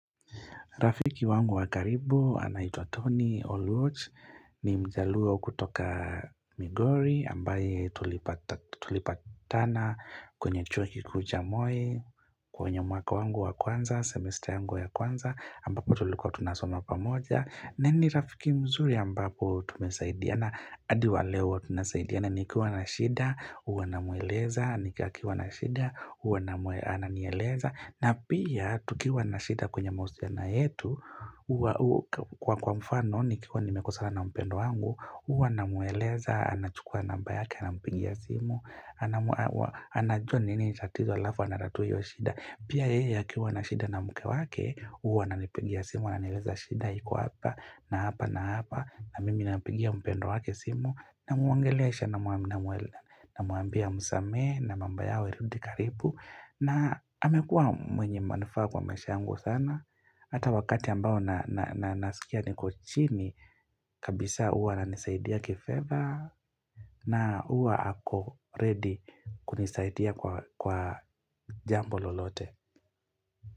Rafiki wangu wa karibu anaitwa Tony Oluoch ni mjaluo kutoka Migori ambaye tulipata tulipatana kwenye chuo kikuu cha Moi kwenye mwaka wangu wa kwanza semester yangu wa kwanza ambapo tulikuwa tunasoma pamoja. Na ni rafiki mzuri ambapo tumesaidiana adi wa leo huwa tunasaidiana nikiwa na shida, huwa namueleza akiwa na shida, huwa ananieleza na pia tukiwa na shida kwenye mahusiano yetu huwa Kwa kwa mfano nikiwa nimekosana na mpendwa wangu huwa namueleza, anachukua namba yake, anampigia simu anajua nini tatizo alafu, anatatua hio shida Pia yeye akiwa na shida na mke wake huwa ananipigia simu ananieleza shida iko hapa na hapa na hapa na mimi napigia mpendwa wake simu namuongelesha namuambia amusamehe na mambo yao irudi karibu na amekuwa mwenye manufaa kwa maisha yangu sana. Hata wakati ambao na nasikia niko chini kabisa huwa ananisaidia kifedha na huwa ako ready kunisaidia kwa jambo lolote.